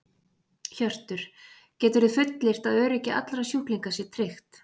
Hjörtur: Geturðu fullyrt að öryggi allra sjúklinga sé tryggt?